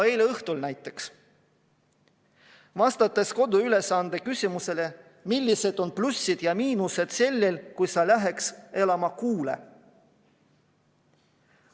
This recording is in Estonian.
Eile õhtul näiteks tuli vastata koduülesande küsimusele, millised on plussid ja miinused, kui sa läheks elama kuule.